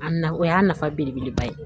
A nafa o y'a nafa belebeleba ye